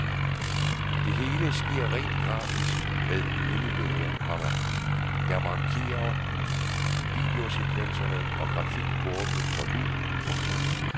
Det hele sker rent grafisk med minibilleder, komma der markerer videosekvenser og grafikkurve for lyd. punktum